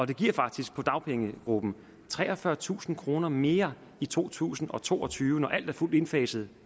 det giver faktisk for dagpengegruppen treogfyrretusind kroner mere i to tusind og to og tyve når alt er fuldt indfaset